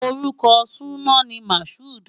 Orúkọ súná ni Mashood.